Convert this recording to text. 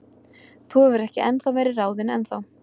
Þú hefur ekki verið ráðinn ennþá.